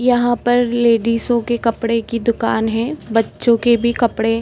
यहाँ पर लेडिसो के कपड़े की दुकान है। बच्चों के भी कपड़े --